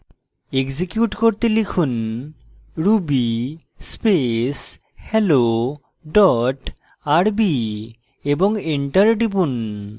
execute করতে লিখুন ruby space hello dot rb এবং enter টিপুন